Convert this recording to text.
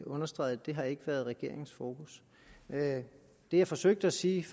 understreget det har ikke været regeringens fokus det jeg forsøgte at sige